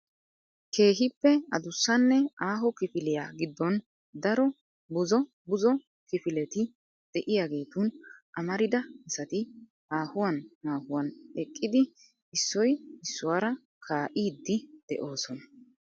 Keehippe addussanne aaho kifiliya giddon daro buzzo buzzo kifileti de'iyaagetun amarida asati haahuwan haahuwan eqqidi issoy issuwaara kaa'idi de'oosona .